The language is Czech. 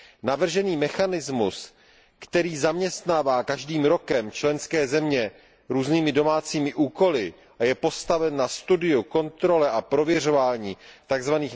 Navržený mechanismus, který zaměstnává každým rokem členské země různými domácími úkoly a je postaven na studiu, kontrole a prověřování tzv.